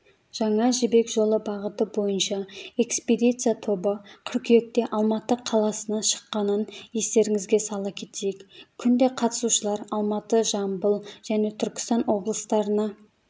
жаңа жібек жолы бағыты бойынша экспедиция тобы қыркүйекте алматы қаласынан шыққанын естеріңізге сала кетейік күнде қатысушылар алматы жамбыл және түркістан облыстарына